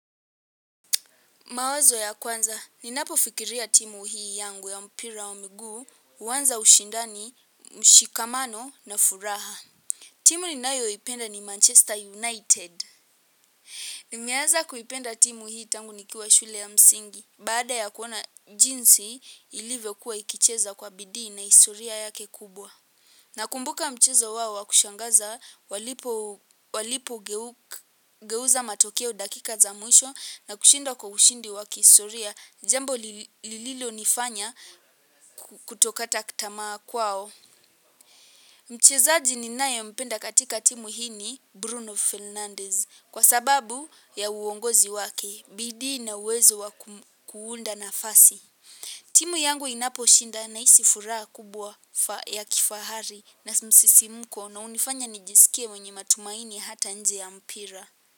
Mawazo ya kwanza, ninapofikiria timu hii yangu ya mpira wa miguu, huanza ushindani, mshikamano na furaha. Timu ninayoipenda ni Manchester United. Nimeaza kuipenda timu hii tangu nikiwa shule ya msingi, baada ya kuona jinsi ilivyokuwa ikicheza kwa bidii na historia yake kubwa. Nakumbuka mchezo wao wa kushangaza walipogeuza matokeo dakika za mwisho na kushinda kwa ushindi wa kihistoria, jambo lililonifanya kutokata tamaa kwao. Mchezaji ninayempenda katika timu hii ni Bruno Fernandez kwa sababu ya uongozi wake, bidii na uwezo wa kuunda nafasi. Timu yangu inaposhinda nahisi furaha kubwa ya kifahari na msisimko na hunifanya nijisikie mwenye matumaini hata nje ya mpira.